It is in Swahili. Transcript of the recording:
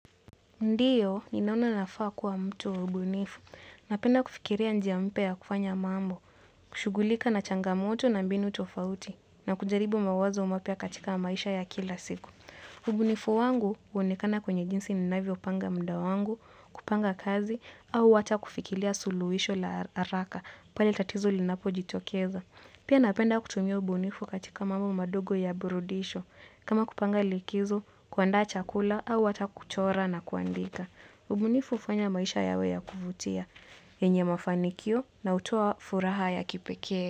Ndiyo, ninaona nafaa kuwa mtu mbunifu. Napenda kufikiria njia mpya ya kufanya mambo, kushughulika na changamoto na mbinu tofauti, na kujaribu mawazo mapya katika maisha ya kila siku. Ubunifu wangu huonekana kwenye jinsi ninavyo panga muda wangu, kupanga kazi, au hata kufikiria suluhisho la haraka, pale tatizo linapojitokeza. Pia napenda kutumia ubunifu katika mambo madogo ya burudisho, kama kupanga likizo, kuandaa chakula au hata kuchora na kuandika. Ubunifu hufanya maisha yawe ya kuvutia. Yenye mafanikio na hutoa furaha ya kipekee.